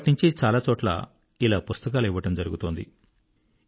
అప్పట్నించీ చాలా చోట్ల ఇలా పుస్తకాలు ఇవ్వడం జరుగుతోంది